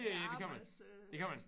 Ja det kan man det kan man